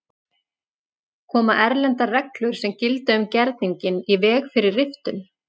Koma erlendar reglur sem gilda um gerninginn í veg fyrir riftun?